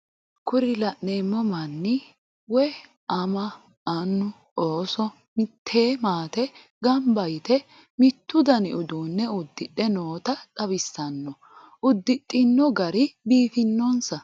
Kuri la'neemo manni woye ama, annu, ooso mitte maate gamba yite mittu dani uduune udidhe noota xawisanno uddixino gari biifinonsa.